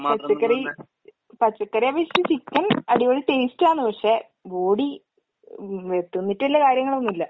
പച്ചക്കറി പച്ചക്കറിയെ അപേക്ഷിച്ച് ചിക്കൻ അടിപൊളി ടേസ്റ്റാണ് പക്ഷെ ബോഡി വേ തിന്നിട്ട് വല്യ കാര്യങ്ങളൊന്നുവില്ല.